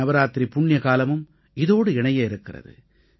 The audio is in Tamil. நவராத்திரி புண்ணியகாலமும் இதோடு இணையவிருக்கிறது